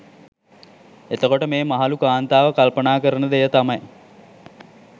එතකොට මේ මහලු කාන්තාව කල්පනා කරන දෙය තමයි